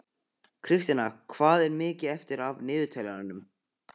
Kristína, hvað er mikið eftir af niðurteljaranum?